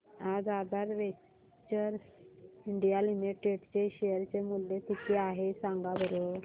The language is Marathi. आज आधार वेंचर्स इंडिया लिमिटेड चे शेअर चे मूल्य किती आहे सांगा बरं